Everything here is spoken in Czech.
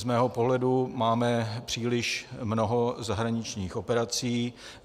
Z mého pohledu máme příliš mnoho zahraničních operací.